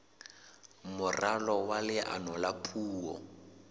moralo wa leano la puo